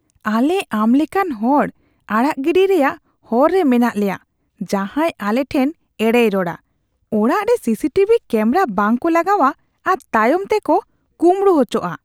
ᱟᱞᱮ ᱟᱢ ᱞᱮᱠᱟᱱ ᱦᱚᱲ ᱟᱲᱟᱜ ᱜᱤᱰᱤ ᱨᱮᱭᱟᱜ ᱦᱚᱨ ᱨᱮ ᱢᱮᱱᱟᱜ ᱞᱮᱭᱟ ᱡᱟᱦᱟᱸᱭ ᱟᱞᱮ ᱴᱷᱮᱱ ᱮᱲᱮᱭ ᱨᱚᱲᱟ, ᱚᱲᱟᱜ ᱨᱮ ᱥᱤᱥᱤ ᱴᱤᱵᱷᱤ ᱠᱮᱢᱵᱨᱟ ᱵᱟᱝ ᱠᱚ ᱞᱟᱜᱟᱣᱟ ᱟᱨ ᱛᱟᱭᱚᱢ ᱛᱮᱠᱚ ᱠᱩᱸᱵᱲᱩ ᱟᱪᱚᱜᱼᱟ ᱾ (ᱯᱩᱞᱤᱥ)